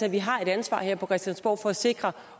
at vi har et ansvar her på christiansborg for at sikre